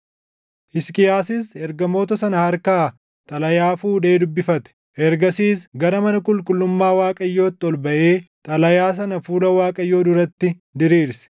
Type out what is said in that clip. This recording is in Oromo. Hisqiyaasis ergamoota sana harkaa xalayaa fuudhee dubbifate. Ergasiis gara mana qulqullummaa Waaqayyootti ol baʼee xalayaa sana fuula Waaqayyoo duratti diriirse.